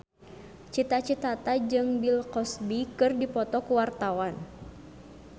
Cita Citata jeung Bill Cosby keur dipoto ku wartawan